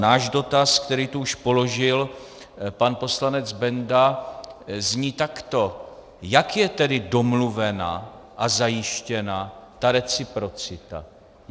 Náš dotaz, který tu už položil pan poslanec Benda, zní takto: Jak je tedy domluvena a zajištěna ta reciprocita?